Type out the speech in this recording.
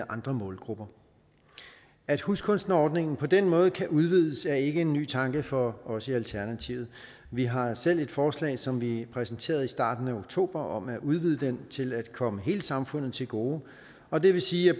andre målgrupper at huskunstnerordningen på den måde kan udvides er ikke en ny tanke for os i alternativet vi har selv et forslag som vi præsenterede i starten af oktober om at udvide den til at komme hele samfundet til gode og det vil sige at